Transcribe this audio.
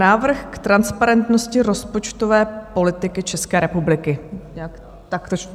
Návrh k transparentnosti rozpočtové politiky České republiky.